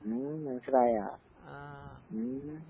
ഉം മനസ്സിലായാ? ഉം.